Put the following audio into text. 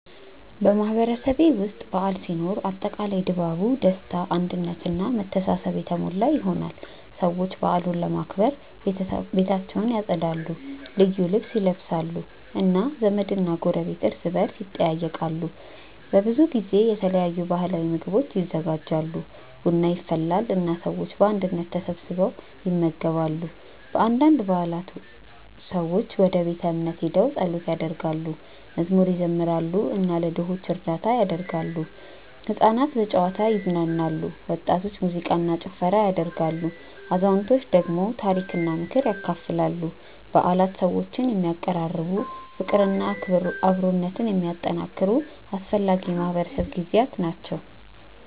በማህበረሰቤ ውስጥ በዓል ሲኖር አጠቃላይ ድባቡ ደስታ አንድነት እና መተሳሰብ የተሞላ ይሆናል። ሰዎች በዓሉን ለማክበር ቤታቸውን ያጸዳሉ፣ ልዩ ልብስ ይለብሳሉ እና ዘመድና ጎረቤት እርስ በርስ ይጠያየቃሉ። በብዙ ጊዜ የተለያዩ ባህላዊ ምግቦች ይዘጋጃሉ፣ ቡና ይፈላል እና ሰዎች በአንድነት ተሰብስበው ይመገባሉ። በአንዳንድ በዓላት ሰዎች ወደ ቤተ እምነት ሄደው ጸሎት ያደርጋሉ፣ መዝሙር ይዘምራሉ እና ለድሆች እርዳታ ያደርጋሉ። ሕፃናት በጨዋታ ይዝናናሉ፣ ወጣቶች ሙዚቃ እና ጭፈራ ያደርጋሉ፣ አዛውንቶች ደግሞ ታሪክና ምክር ያካፍላሉ። በዓላት ሰዎችን የሚያቀራርቡ፣ ፍቅርና አብሮነትን የሚያጠናክሩ አስፈላጊ የማህበረሰብ ጊዜያት ናቸው።